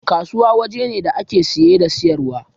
Kasuwa waje ne da ake saye da siyarwa